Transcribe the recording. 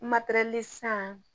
materɛli san